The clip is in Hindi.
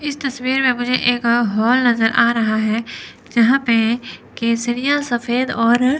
इस तस्वीर में मुझे एक हॉल नजर आ रहा है जहां पे केसरिया सफेद और--